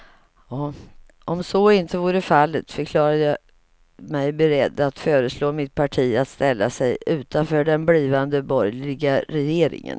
Om så inte vore fallet förklarade jag mig beredd att föreslå mitt parti att ställa sig utanför den blivande borgerliga regeringen.